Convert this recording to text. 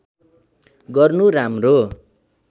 गर्नु राम्रो